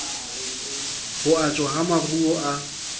ho ajwa ha maruo a